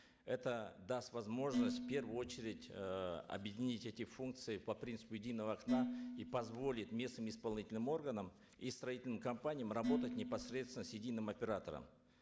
это даст возможность в первую очередь э объединить эти функции по принципу единого окна и позволит местным исполнительным органам и строительным компаниям работать непосредственно с единым оператором